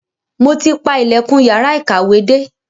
Mo ti pa ilẹ̀kùn yàrá ìkàwé dé.